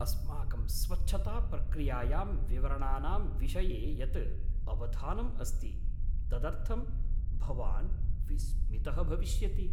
अस्माकं स्वच्छताप्रक्रियायां विवरणानां विषये यत् अवधानम् अस्ति, तदर्थं भवान् विस्मितः भविष्यति।